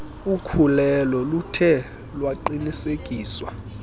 ukhulelo luthe lwaqinisekiswa